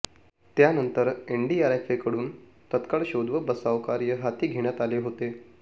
त्यानंतर एनडीआरएफकडून तत्काळ शोध व बचाव कार्य हाती घेण्यात आले होते